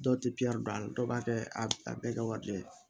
Dɔw tɛ don a la dɔw b'a kɛ a bɛɛ kɛ wari de ye